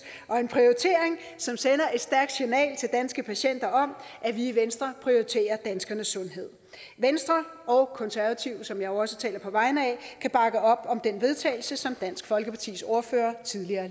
og en prioritering som sender et stærkt signal til danske patienter om at vi i venstre prioriterer danskernes sundhed venstre og konservative som jeg jo også taler på vegne af kan bakke op om det vedtagelse som dansk folkepartis ordfører tidligere